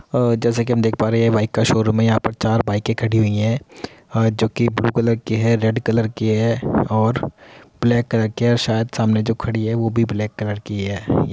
अ जैसा कि हम देख पा रहे है ये बाइक का शोरूम है। यहाँ पर चार बाइकें खड़ी हुई हैं और जोकि ब्लू कलर की है रेड कलर की हैं और ब्लेक कलर की है। शायद सामने जो खड़ी है वो भी ब्लेक कलर की है।